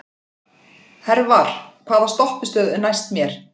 Hervar, hvaða stoppistöð er næst mér?